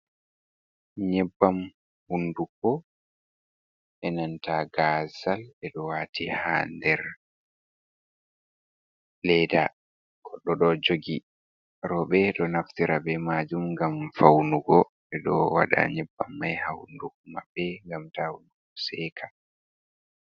Nyebbam hunduko e nanta gazal be do wati ha nder leda goɗo ɗo jogi. Robe ɗo naftira ɓe majum gam faunugo ɓeɗo wada nyebbam mai ha hunduko mabɓe gam ta hundugo seka.